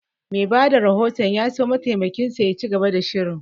Mai bada rahoton ya so mataimakin shi ya ci gaba da shirin